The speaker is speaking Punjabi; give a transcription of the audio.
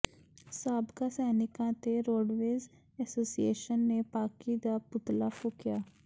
ਸਾਬਕਾ ਸੈਨਿਕਾਂ ਤੇ ਰੋਡਵੇਜ਼ ਐਸੋਸੀਏਸ਼ਨ ਨੇ ਪਾਕਿ ਦਾ ਪੁਤਲਾ ਫੂਕਿਆ